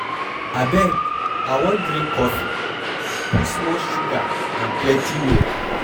Abeg I wan drink coffee, put small sugar and plenty milk.